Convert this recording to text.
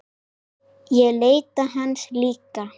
Ég leita hans líka.